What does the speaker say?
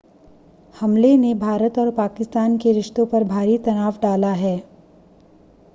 हमले ने भारत और पाकिस्तान के रिश्तों पर भारी तनाव डाला है